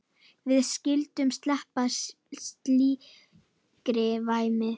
Við skyldum sleppa slíkri væmni.